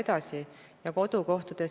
Täpsustav küsimus, Aivar Sõerd, palun!